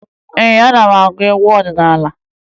Ee, ana m agụ egwu ọdịnaala